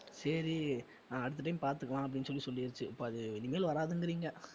சரி நான் அடுத்த time பார்த்துக்கலாம் அப்படின்னு சொல்லி சொல்லிடுச்சு அப்ப அது இனிமேல் வர்றாதுங்கிறீங்க